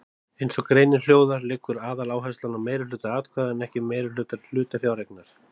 Eins og greinin hljóðar liggur aðaláherslan á meirihluta atkvæða en ekki meirihluta hlutafjáreignar.